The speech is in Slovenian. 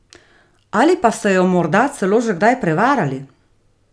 Ali pa ste jo morda celo že kdaj prevarali?